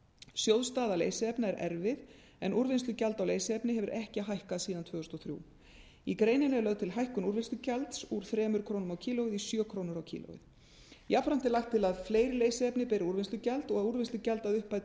sjóð staða leysiefna er erfið en úrvinnslugjald á leysiefni hefur ekki hækkað síðan tvö þúsund og þrjú í greininni er lögð til hækkun úrvinnslugjalds úr þremur krónum kílógrömm jafnframt er lagt til að fleiri leysiefni beri úrvinnslugjald og að úrvinnslugjald að upphæð